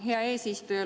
Hea eesistuja!